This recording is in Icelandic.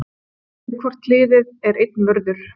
við hvort hlið er einn vörður